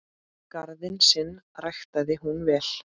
Garðinn sinn ræktaði hún vel.